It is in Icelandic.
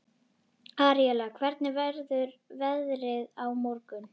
Aríela, hvernig verður veðrið á morgun?